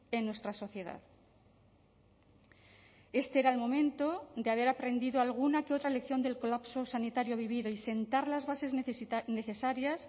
en nuestra sociedad este era el momento de haber aprendido alguna que otra elección del colapso sanitario vivido y sentar las bases necesarias